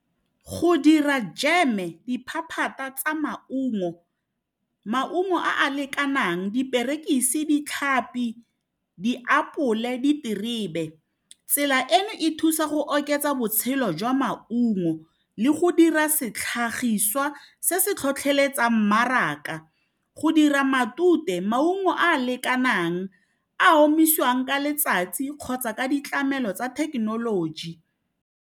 Go dira jam-e diphaphata tsa maungo, maungo a a lekanang diperekisi, ditlhapi, diapole diterebe tsela eno e thusa go oketsa botshelo jwa maungo le go dira setlhagiswa se se tlhotlheletsang mmaraka go dira matute maungo a a lekanang a omiswang ka letsatsi kgotsa ka ditlamelo tsa thekenoloji.